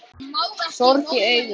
Sorg í augum.